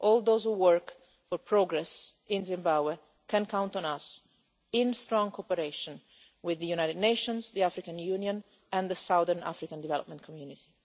All those who are working for progress in Zimbabwe can count on us in strong cooperation with the United Nations, the African Union and the Southern African Development Community.